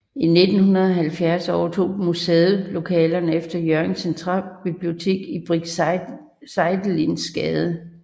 I 1970 overtog museet lokalerne efter Hjørring Centralbibliotek i Brinck Seidelins Gade